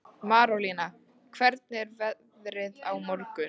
Marólína, hvernig er veðrið á morgun?